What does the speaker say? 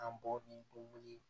An bɔ ni o wuli